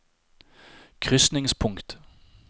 krysningspunkt